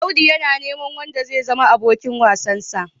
Audu yana neman wanda zai zama abokin wasansa.